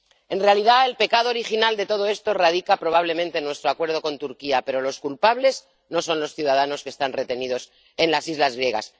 En realidad, el pecado original de todo esto radica probablemente en nuestro acuerdo con Turquía, pero los culpables no son los ciudadanos que están retenidos en las islas griegas.